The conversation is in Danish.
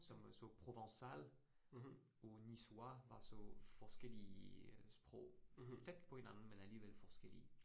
Som så provençal og niçois var så forskellige sprog. Tæt på hinanden, men alligevel forskelllige